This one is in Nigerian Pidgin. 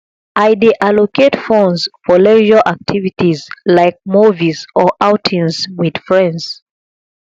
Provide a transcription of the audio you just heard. i dey allocate funds for leisure activities like movies or outings with friends